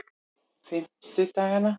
fimmtudagana